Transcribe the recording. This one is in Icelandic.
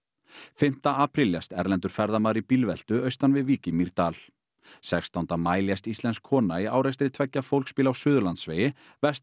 fimmta apríl lést erlendur ferðamaður í bílveltu austan við Vík í Mýrdal sextánda maí lést íslensk kona í árekstri tveggja fólksbíla á Suðurlandsvegi vestan